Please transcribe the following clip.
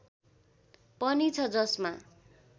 पनि छ जसमा